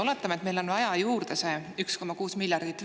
Oletame, et meil on vaja juurde veel 1,6 miljardit.